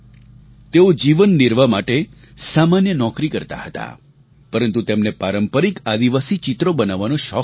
તેઓ જીવનનિર્વાહ માટે સામાન્ય નોકરી કરતા હતા પરંતુ તેમને પારંપરિક આદિવાસી ચિત્રો બનાવવાનો શોખ હતો